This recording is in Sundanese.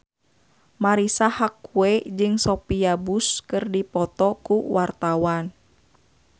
Marisa Haque jeung Sophia Bush keur dipoto ku wartawan